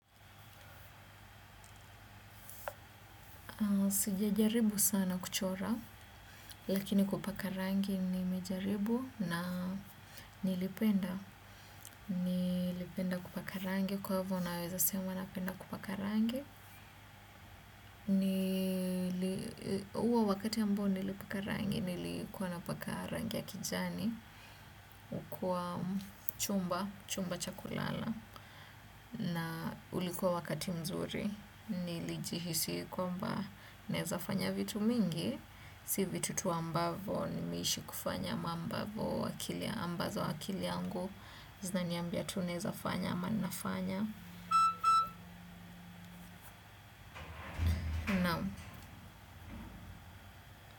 Sijajaribu sana kuchora, lakini kupaka rangi nimejaribu na nilipenda. Nilipenda kupaka rangi, kwaivo naweza sema napenda kupaka rangi. Uo wakati ambao nilipaka rangi, nilikuwa napaka rangi ya kijani. Kwa chumba, chumba cha kulala. Na ulikuwa wakati mzuri, nilijihisi kwamba naezafanya vitu mingi. Si vitu tu ambavo nimeishi kufanya ama ambazo akili yangu zinaniambia tu naeza fanya ama nafanya.